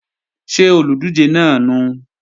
Ṣé olùdíje náà nùu?